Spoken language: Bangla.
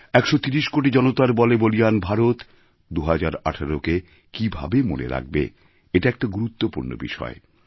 ১৩০ কোটি জনতার বলে বলীয়ান ভারত ২০১৮কে কীভাবে মনে রাখবে এটা একটা গুরুত্বপূর্ণ বিষয়